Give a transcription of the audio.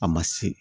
A ma se